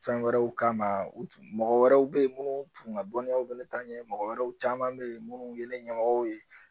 Fɛn wɛrɛw kama u tun mɔgɔ wɛrɛw bɛ yen minnu tun ka dɔnniyaw bɛ ne ta ɲɛmɔgɔ wɛrɛw caman bɛ yen minnu ye ne ɲɛmɔgɔw ye